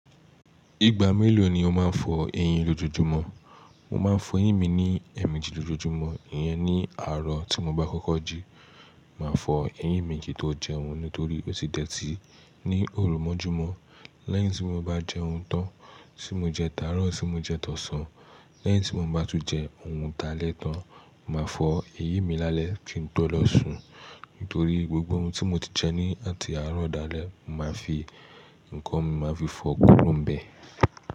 Ìgbà mélòó ni o máa ń fọ eyín lọjọjumo? Mo máa ń fọ eyín mi ní ẹ̀ẹ̀mejì lójoojúmọ́, ìyẹn ní àárọ̀ tí mo bá kọ́kọ́ jí. Màá fọ eyín mi kì n tó jẹun nítorí ó ti dẹ̀ tí ní òrumọjúmọ́. Lẹ́yìn tí mo bá jẹun tán, tí mo jẹ táàárọ̀, tí mo jẹ tọ̀sán, lẹ́yìn tí mo bá tún jẹ oun ta lẹ́ tán, màá fọ eyín mi lálẹ́ kí n tó lọ sùn. Nítorí gbogbo oun tí mo ti jẹ ní àti àárọ̀ dalẹ́, mo máa fi nǹkan mi máa fi fọ kú ro n bẹ̀.